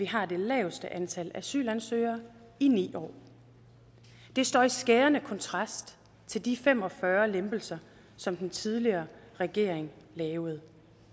har det laveste antal asylansøgere i ni år det står i skærende kontrast til de fem og fyrre lempelser som den tidligere regering lavede